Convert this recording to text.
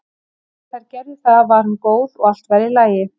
Þegar þær gerðu það var hún góð og allt var í lagi.